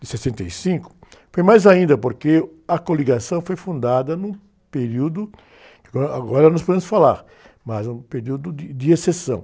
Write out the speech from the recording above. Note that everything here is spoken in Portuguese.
de sessenta e cinco, foi mais ainda, porque a coligação foi fundada no período, agora, agora nós podemos falar, mas num período de, de exceção.